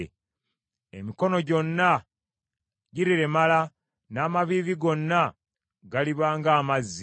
Emikono gyonna giriremala, n’amaviivi gonna galiba ng’amazzi.